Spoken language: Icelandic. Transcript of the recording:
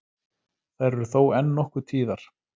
Þær eru þó enn nokkuð tíðar